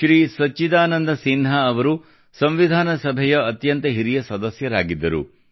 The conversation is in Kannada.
ಶ್ರೀ ಸಚ್ಚಿದಾನಂದ ಸಿನ್ಹಾ ಅವರು ಸಂವಿಧಾನ ಸಭೆಯ ಅತ್ಯಂತ ಹಿರಿಯ ಸದಸ್ಯರಾಗಿದ್ದರು